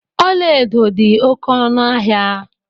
Ọla edo dị oké ọnụ ahịa.